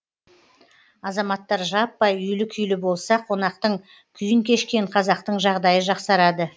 азаматтар жаппай үйлі күйлі болса қонақтың күйін кешкен қазақтың жағдайы жақсарады